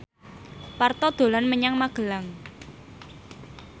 Parto dolan menyang Magelang